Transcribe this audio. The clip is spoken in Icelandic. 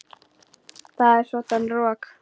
Það er svoddan rok.